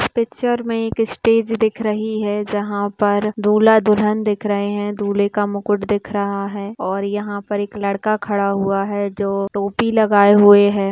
Picture में एक stage दिख रही है जहां पर दूल्हा दुल्हन दिख रहे है दूल्हे का मुकुट दिख रहा है और यहां पर एक लड़का खड़ा जो टोपी लगाए हुए है।